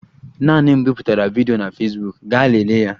Naanị m biputere vidiyo na Fesbuk, gaa lelee ya